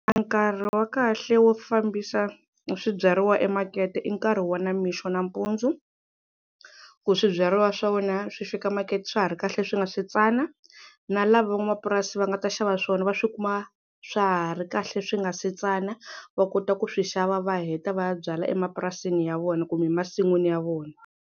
Nkarhi wa kahle wo fambisa swibyariwa emakete i nkarhi wa namixo nampundzu ku swibyariwa swa wena swi fika makete swa ha ri kahle swi nga si tsana, na lava van'wamapurasi va nga ta xava swona va swi kuma swa ha ri kahle swi nga se tsana va kota ku swi xava va heta va ya byala emapurasini ya vona kumbe masin'wini ya vona.